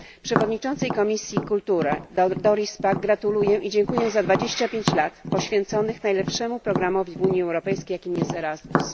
Przewodniczącej Komisji Kultury Doris Pack dziękuję za 25 lat poświęconych najlepszemu programowi w Unii Europejskiej, jakim jest ERASMUS.